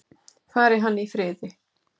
Fari hann í friði.